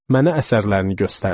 Mənə əsərlərini göstərdi.